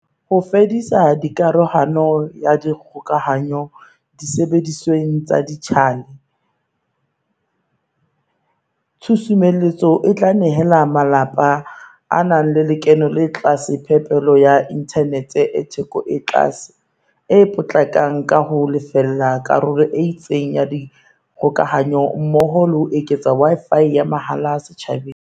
Ho fedisa karohano ya dikgokahanyo disebedisweng tsa dijithale, tshusumetso e tla nehela malapa a nang le lekeno le tlase phepelo ya inthanete e theko e tlase, e potlakang ka ho a lefella karolo e itseng ya dikgokahanyo mmoho le ho eketsa Wi-Fi ya mahala setjhabeng.